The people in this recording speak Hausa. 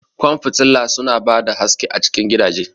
Ƙwan fitila su na ba da haske a cikin gidaje